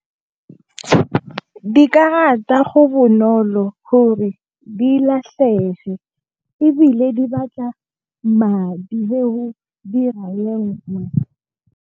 Dikarata go bonolo gore di latlhege. Ebile, di batla madi le ho dira e nngwe.